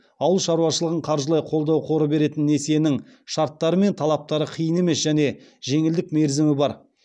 ауыл шаруашылығын қаржылай қолдау қоры беретін несиенің шарттары мен талаптары қиын емес және жеңілдік мерзімі бар